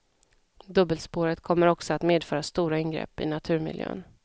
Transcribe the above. Dubbelspåret kommer också att medföra stora ingrepp i naturmiljön.